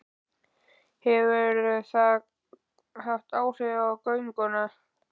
Hefur það haft áhrif á gönguna?